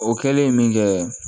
O kɛlen min kɛ